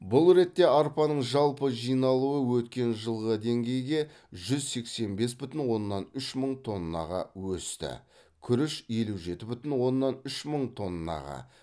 бұл ретте арпаның жалпы жиналуы өткен жылғы деңгейге жүз сексен бес бүтін оннан үш мың тоннаға өсті күріш елу жеті бүтін оннан үш мың тоннаға